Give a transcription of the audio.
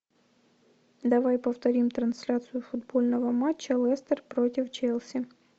давай повторим трансляцию футбольного матча лестер против челси